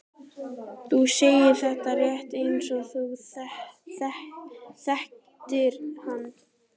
Þú segir þetta rétt eins og þú þekktir hann.